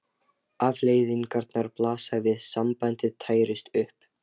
Afleiðingarnar blasa við: sambandið tærist upp.